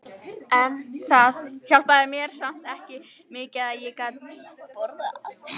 En það hjálpaði mér samt mikið að ég gat borðað.